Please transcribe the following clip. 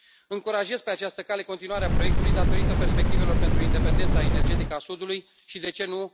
Încurajez pe această cale continuarea proiectului, datorită perspectivelor pentru independența energetică a Sudului și de ce nu?